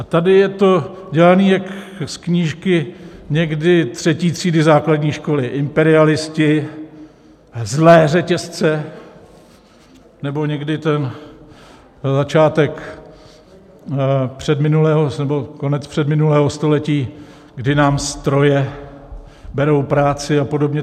A tady je to dělané jak z knížky někdy třetí třídy základní školy: imperialisté, zlé řetězce, nebo někdy ten začátek předminulého nebo konec předminulého století, kdy nám stroje berou práci, a podobně.